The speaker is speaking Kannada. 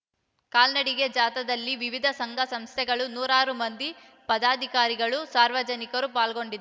ಕಾಲ್ನಡಿಗೆ ಜಾಥಾದಲ್ಲಿ ವಿವಿಧ ಸಂಘ ಸಂಸ್ಥೆಗಳ ನೂರಾರು ಮಂದಿ ಪದಾಧಿಕಾರಿಗಳು ಸಾರ್ವಜನಿಕರು ಪಾಲ್ಗೊಂಡಿ